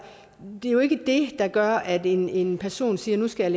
det er jo ikke det der gør at en en person siger at nu skal